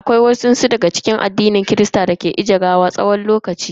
Akwai wasu daga cikin mabiya addinin kirista dake aje gawa na wani tsawon lokaci kafin a binne.